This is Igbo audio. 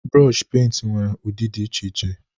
Brooshi penti nwere ụdị dị iche iche